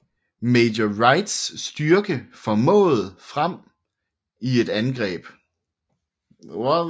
Major Wrights styrke stormede frem i et angreb